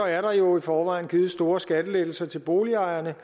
er der jo i forvejen blevet givet store skattelettelser til boligejerne